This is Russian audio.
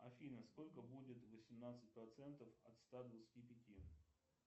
афина сколько будет восемнадцать процентов от ста двадцати пяти